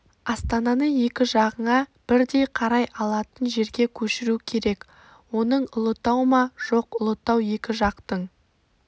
астананы екі жағыңа бірдей қарай алатын жерге көшіру керек оның ұлытау ма жоқ ұлытау екі жақтың